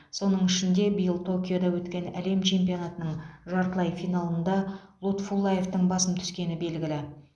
соның ішінде биыл токиода өткен әлем чемпионатының жартылай финалында лутфуллаевтың басым түскені белгілі